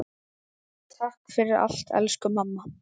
Takk fyrir allt, elsku mamma.